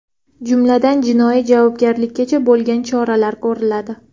Jumladan, jinoiy javobgarlikkacha bo‘lgan choralar ko‘riladi.